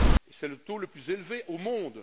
C'est le taux le plus élevé au monde.